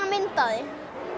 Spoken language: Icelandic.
mynd af því